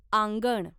आंगण